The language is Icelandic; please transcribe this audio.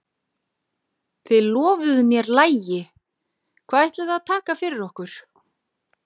Þið lofuðuð mér lagi, hvað ætlið þið að taka fyrir okkur?